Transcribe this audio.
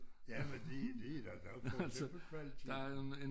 Jamen det det er da ret forskel på kvaliteten